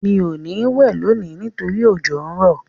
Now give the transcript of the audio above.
Mi ò ní wẹ̀ lónìí nítorí òjò n rọ́.